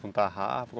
Com tarrafa?